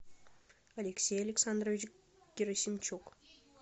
алексей александрович герасимчук